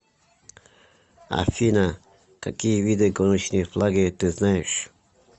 афина какие виды гоночные флаги ты знаешь